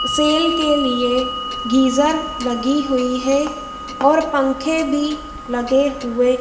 cell के लिए geyser लगी हुई है और पंखे भी लगे हुए--